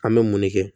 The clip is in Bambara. An bɛ mun de kɛ